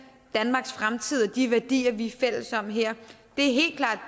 danmarks fremtid og de værdier vi er fælles om her det